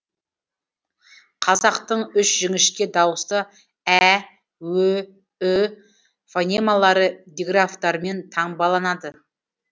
қазақтың үш жіңішке дауысты ә ө ү фонемалары диграфтармен таңбаланады